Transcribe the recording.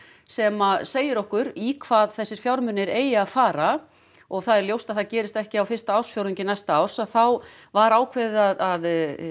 sem segir okkur í hvað þessir fjármunir eigi að fara og það er ljóst að það gerist ekki á fyrsta ársfjórðungi næsta árs að þá var ákveðið að